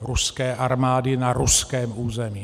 ruské armády na ruském území.